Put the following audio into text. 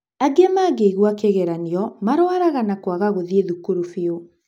Angĩ mangĩigua kĩgeranio marũaraga na kwaga gũthiĩ thukuru biũ.